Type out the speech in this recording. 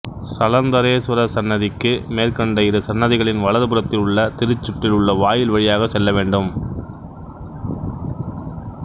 சலந்தரேஸ்வரர் சன்னதிக்கு மேற்கண்ட இரு சன்னதிகளின் வலது புறத்தில் உள்ள திருச்சுற்றில் உள்ள வாயில் வழியாகச் செல்ல வேண்டும்